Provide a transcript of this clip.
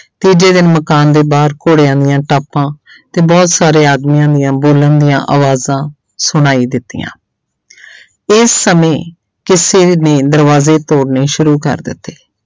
ਤੀਜੇ ਦਿਨ ਮਕਾਨ ਦੇ ਬਾਹਰ ਘੋੜਿਆਂ ਦੀਆਂ ਟਾਪਾਂ ਤੇ ਬਹੁਤ ਸਾਰੇ ਆਦਮੀਆਂ ਦੀਆਂ ਬੋਲਣ ਦੀਆਂ ਆਵਾਜ਼ਾਂ ਸੁਣਾਈ ਦਿੱਤੀਆਂ ਇਹ ਸਮੇਂ ਕਿਸੇ ਨੇ ਦਰਵਾਜ਼ੇ ਤੋੜਨੇ ਸ਼ੁਰੂ ਕਰ ਦਿੱਤੇ।